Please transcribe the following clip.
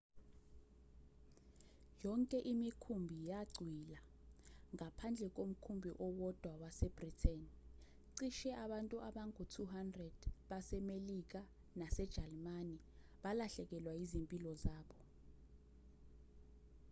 yonke imikhumbi yacwila ngaphandle komkhumbi owodwa wase-britain cishe abantu abangu-200 basemelika nasejalimane balahlekelwa yizimpilo zabo